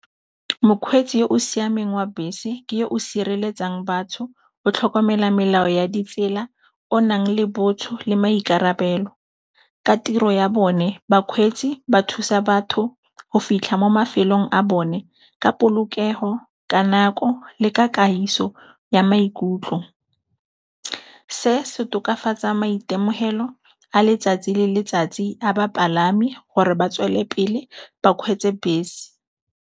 Mokgweetsi yo o siameng wa bese ke o sireletsang batho, o tlhokomela melao ya ditsela, o nang le botho le maikarabelo. Ka tiro ya bone bakgweetsi ba thusa batho go fitlha mo mafelong a bone ka polokego, ka nako, le ka kagiso ya maikutlo. Se se tokafatsa maitemogelo a letsatsi le letsatsi a bapalami gore ba tswelele pele ba kgweetse bese.